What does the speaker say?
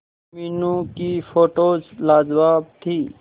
मीनू की फोटोज लाजवाब थी